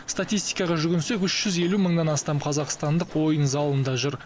статистикаға жүгінсек үш жүз елу мыңнан астам қазақстандық ойын залында жүр